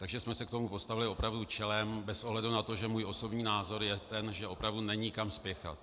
Takže jsme se k tomu postavili opravdu čelem bez ohledu na to, že můj osobní názor je ten, že opravdu není kam spěchat.